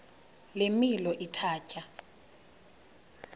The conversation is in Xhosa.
le milo ithatya